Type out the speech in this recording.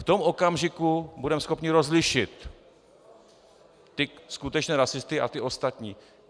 V tom okamžiku budeme schopni rozlišit ty skutečné rasisty a ty ostatní.